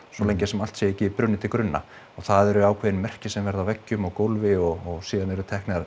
svo lengi sem allt sé ekki brunnið til grunna og það eru ákveðin merki sem verða á veggjum og gólfi og síðan eru